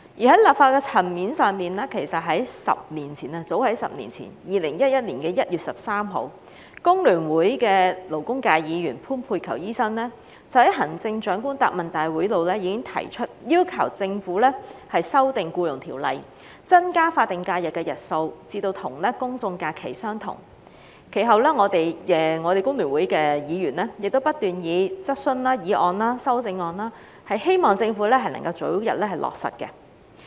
在立法的層面上，其實早於10年前的2011年1月13日，工聯會的勞工界議員潘佩璆醫生已在行政長官答問會上要求政府修訂《僱傭條例》，增加法定假日的日數至與公眾假期相同；其後，我們工聯會的議員亦不斷提出質詢、議案及修正案，希望政府能夠早日落實這項建議。